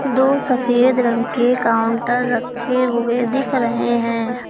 दो सफेद रंग के काउंटर रखे हुए दिख रहे हैं।